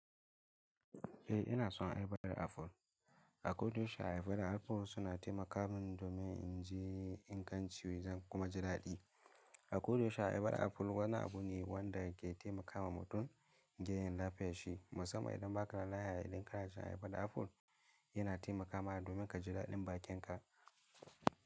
Eh ina son ayabar aful. A koyaushe ayabar aful suna taimakawa domin in ji ingancin wajan kuma ji daɗi. A koyaushe ayabar aful wani abu ne wanda ke taimakawa mutum gefen lafiyanshi. Musamman idan ba ka da lafiya idan karashen ayabar aful yana taimakawa domin ka ji daɗin bakinka.